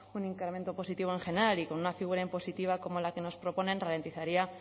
un incremento positivo en general y con una figura impositiva como la que nos proponen ralentizaría